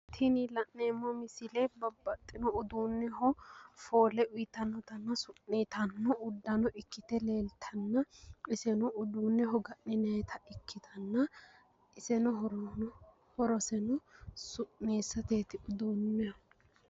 Tini la'neemmo misile uduunneho foole uyitannotanna su'niitanno uddano ikkite leeltanna iseno uduunneho ga'ninayita ikkitanna iseno horoseno su'niissateeti uduunneho.